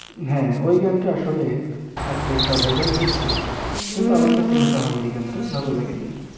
হ্যাঁ ওই গান টা আসলে এত টা vairal হৈছে কিন্তু আমার কাছে আঃহা মরি গান টা ভালো লাগেনি